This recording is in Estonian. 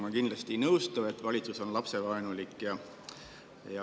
Ma kindlasti ei nõustu sellega, et valitsus on lapsevaenulik.